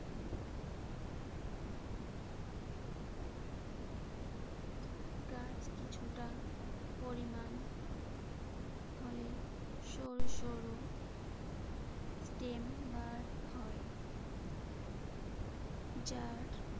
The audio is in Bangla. গাছ কিছুটা পরিমাণ হলে সরু সরু স্টেম বার হয়। যার